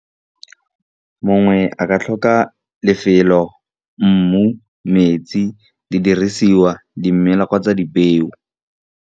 Mongwe a ka tlhoka lefelo, mmu, metsi di dirisiwa di mela kgotsa di peo.